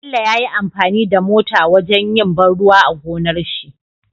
Bello yayi amfani da mota wajan yin ban ruwa a gonarshi